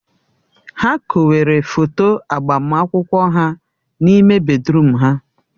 Ha kowere foto agbamakwụkwọ ha n'ime bèdrụm ha.